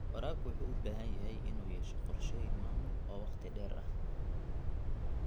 Waraabka wuxuu u baahan yahay inuu yeesho qorshooyin maamul oo waqti dheer ah.